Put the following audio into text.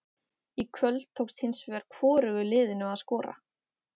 Í kvöld tókst hins vegar hvorugu liðinu að skora.